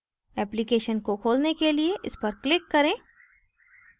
application को खोलने के लिए इस पर click करें